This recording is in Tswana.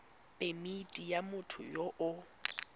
phemithi ya motho yo o